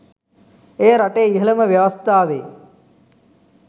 එය රටේ ඉහළම ව්‍යවස්ථාවේ